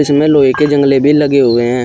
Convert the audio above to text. इसमें लोहे के जंगले भी लगे हुए हैं।